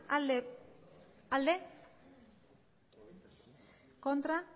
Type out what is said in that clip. aldeko botoak aurkako botoak